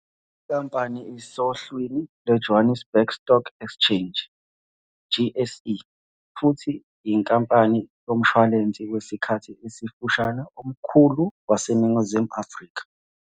Le nkampani isohlwini lweJohannesburg Stock Exchange, JSE, futhi iyinkampani yomshwalense wesikhathi esifushane omkhulu waseNingizimu Afrika.